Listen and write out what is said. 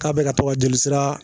K'a bi ka to ka joli